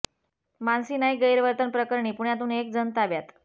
मानसी नाईक गैरवर्तन प्रकरणी पुण्यातून एक जण ताब्यात